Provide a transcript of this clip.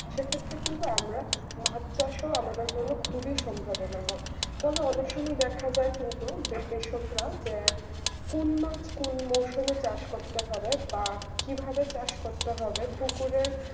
সেক্ষেত্রে কিন্তু আমরা মাছ চাষও আমাদের জন্য খুবই সম্ভাবনা তবে অনেক সময় দেখা যায় কিন্তু বিষয়করা কোন মাছ কোন মৌসুমে চাষ করতে হবে বা কিভাবে চাষ করতে হবে পুকুরের